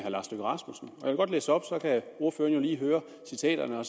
godt læse op så kan ordføreren jo lige høre citaterne og